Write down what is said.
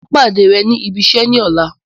Màá pàdé rẹ ní ibiṣẹ́ ní ọ̀la